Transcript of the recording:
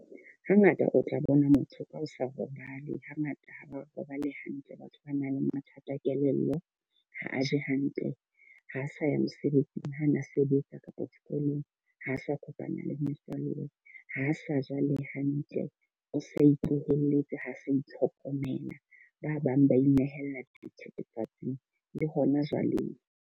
Ha ngata o tla bona motho ka ho sa robale. Ha ngata ha ba robale hantle batho ba nang le mathata a kelello. Ha a je hantle, ha a sa ya mosebetsing, ha a na sebetsa kapa sekolong. Ho sa kopana le metswalle, ha sa ja le hantle. O sa itlohele Itse ha sa itlhokomela. Ba bang ba inehela dithithifatsing le hona jwaleng.